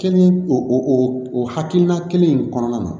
Kɛli o o hakilina kelen in kɔnɔna na